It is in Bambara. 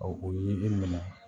Ɔ o ye e minɛ